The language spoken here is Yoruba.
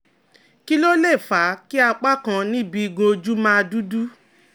Kí ló lè fà á kí apá kan níbi igun ojú máa dúdú?